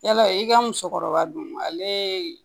Yala i ka musokɔrɔba don ale